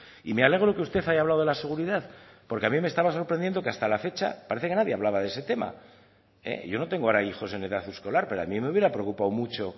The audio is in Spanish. y me alegro de que usted haya hablado de la seguridad porque a mí me estaba sorprendiendo que hasta la fecha nadie hablaba de ese tema y yo ahora no tengo hijos en edad escolar pero a mí me hubiera preocupado mucho